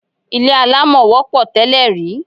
Ilé alámọ̀ wọ́pọ̀ tẹ́lè rí.